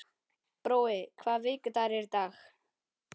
Brói, hvaða vikudagur er í dag?